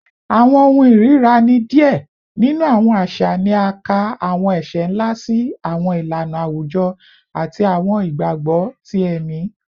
Awọn ohun irira ni diẹ ninu awọn aṣa ni a ka awọn ẹṣẹ nla si awọn ilana awujọ ati awọn igbagbọ ti ẹmi